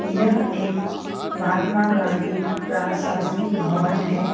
यह एक महात्मा गांधी प्राशासनिक भवन है।